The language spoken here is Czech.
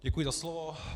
Děkuji za slovo.